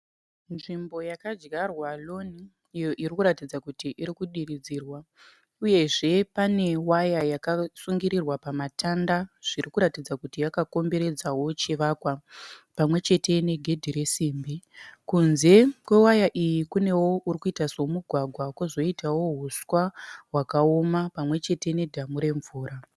Nzvimbo yakadyarwa lawn iyo irikuratidza kuti irimukudiridzirwa . Uyezve pane waya yakasungirirwa pamatanda zviri kuratidza kuti yakakomberedza chivakwa pamwechete negedhe resimbi . Kunze kwewaya iyi kune kurikuita semugwagwa kozoitawo huswa hwakaoma pamwechete nedhamu remvura.